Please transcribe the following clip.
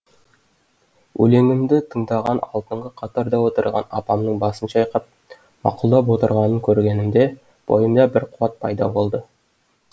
өлеңімді тыңдаған алдыңғы қатарда отырған апамның басын шайқап мақұлдап отырғанын көргенімде бойымда бір қуат пайда болды